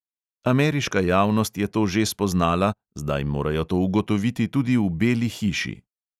Ameriška javnost je to že spoznala, zdaj morajo to ugotoviti tudi v beli hiši.